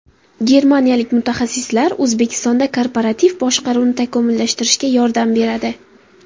Germaniyalik mutaxassislar O‘zbekistonda korporativ boshqaruvni takomillashtirishga yordam beradi.